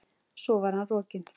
Svo var hann rokinn.